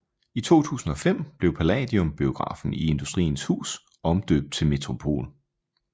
I 2005 blev Palladium biografen i Industriens Hus omdøbt til Metropol